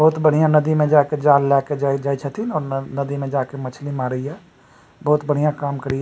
बहुत बढियाँ नदी में जाके जाल लाके जाए जाय छथीन अउ नदी में जाय के मछली मारे ये बहुत बढियाँ काम करे ये --